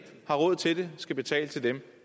har råd til det skal betale til dem